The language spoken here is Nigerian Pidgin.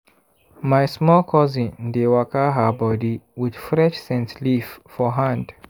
my small cousin dey waka her body with fresh scent leaf for hand.